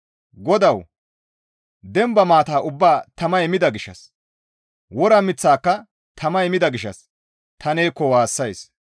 GODAWU! Demba maata ubbaa tamay mida gishshas wora miththaaka tamay mida gishshas ta neekko waassays.